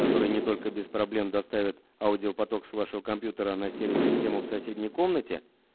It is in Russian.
который не только без проблем доставят аудиопоток с вашего компьютера на стереосистему в соседней комнате